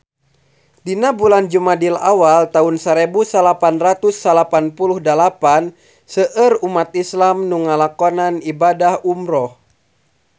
Dina bulan Jumadil awal taun sarebu salapan ratus salapan puluh dalapan seueur umat islam nu ngalakonan ibadah umrah